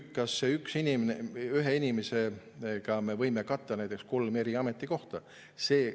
Kas me ühe inimesega võime katta näiteks kolme ametikohta?